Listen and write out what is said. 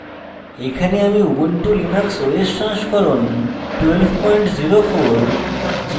এখানে আমি ubuntu linux os সংস্করণ 1204